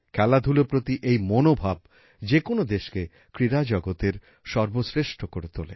খেলাধুলার প্রতি এই মনোভাব যে কোনো দেশকে ক্রীড়া জগতের সর্বশ্রেষ্ঠ করে তোলে